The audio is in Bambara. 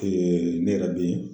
ne yɛrɛ bɛ yen.